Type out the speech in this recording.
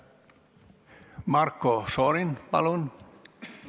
Marko Šorin, palun!